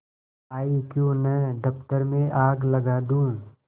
आयीक्यों न दफ्तर में आग लगा दूँ